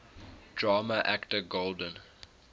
drama actor golden